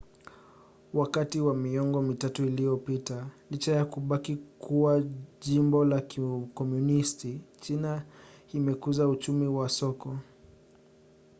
wakati wa miongo mitatu iliyopita licha ya kubaki kuwa jimbo la kikomunisti china imekuza uchumi wa soko